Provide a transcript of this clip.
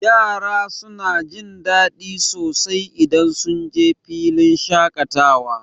Yara suna jin daɗi sosai idan sunje filin shaƙatawa.